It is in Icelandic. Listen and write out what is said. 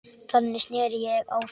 Þannig sneri ég á þá.